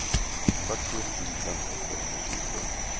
fyrtio tusen åttahundratjugotre